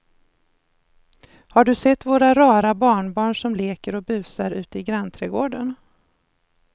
Har du sett våra rara barnbarn som leker och busar ute i grannträdgården!